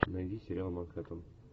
найди сериал манхэттен